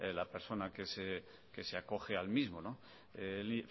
la persona que se acoge al mismo el